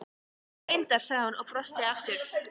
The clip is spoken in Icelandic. Já, reyndar, sagði hún og brosti aftur.